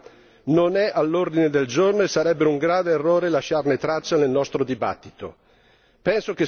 Questo tema non è all'ordine del giorno e sarebbe un grave errore lasciarne traccia nel nostro dibattito.